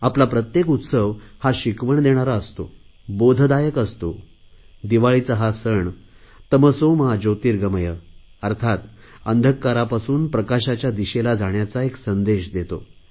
आपला प्रत्येक उत्सव शिकवण देणारा असतो बोधदायक असतो दिवाळीचा हा सण तमसो मा ज्योतिर्गमय अर्थात अंधकारापासून प्रकाशाच्या दिशेला जाण्याचा एक संदेश देतो